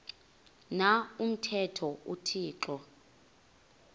na umthetho uthixo